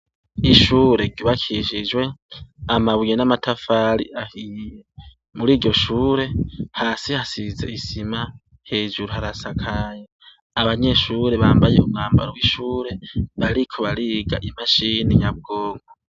Ishure ryubakishijwe amabuye n’amatafari ahiye, muri ryo shure hasi hasize isima hejuru harasakaye, abanyeshure bambaye umwambaro w'ishure bariko bariga imashine nyabwonko.